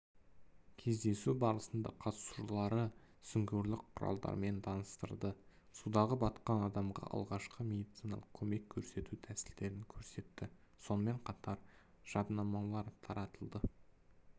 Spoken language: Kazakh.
кездесу барысында құтқарушылары сүңгуірлік құралдарымен таныстырды судағы батқан адамға алғашқы медициналық көмек көрсету тәсілдерін көрсетті сонымен қатар жаднамалар таратылды